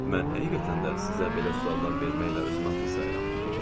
Mən həqiqətən də sizə belə suallar verməklə özümü haqlı sayıram.